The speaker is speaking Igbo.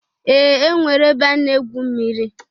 Ee! E nwere ebe a na-egwu mmiri.